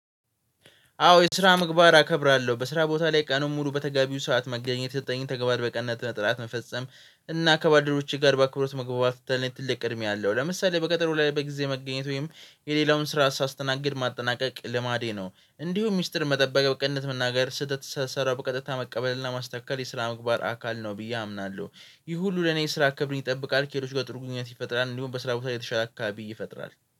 አዎ የስራ ምግባር አከብራለሁ በስራ ቦታ ላይ ቀኑን ሙሉ በተጋቢው ሰዓት መገኘት የተሰጠኝን ተግባር በቅንነት መፈጸም እና ከባልድረቦቼ ጋር በአክብሮት መግባባት ለኔ ትልቅ ቅድሚያ አለው። ለምሳሌ በቀጠሮ ላይ በጊዜ መገኘት ወይም የሌላውን ስራ ሳስተናግድ ማጠናቀቅ ልማዴ ነው። እንዲሁም ሚስጥር መጠበቅ በቅንነት መናገር ስህተት ስሰራ በቀጥታ መቀበል እና ማስተካከል የስራ ምግባር አካል ነው ብዬ አምናለሁ። ይህ ሁሉ ለኔ የስራ ክብርን ይጠብቃል ከሌሎች ጋር ጥሩ ግንኙነት ይፈጥራል። እንዲሁም በስራ ቦታ ላይ የተሻለ አካባቢ ይፈጥራል